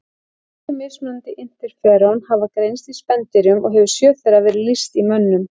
Tíu mismunandi interferón hafa greinst í spendýrum og hefur sjö þeirra verið lýst í mönnum.